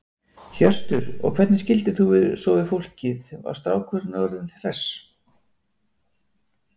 Hjörtur: Og hvernig skildir þú svo við fólkið, var strákurinn orðinn hress?